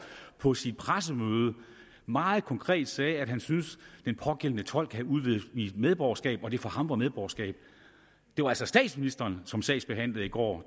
på sit pressemøde meget konkret sagde at han syntes at den pågældende tolk havde udvidet medborgerskab og det for ham var medborgerskab det var altså statsministeren som sagsbehandlede i går